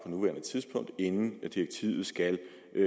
nuværende tidspunkt inden direktivet skal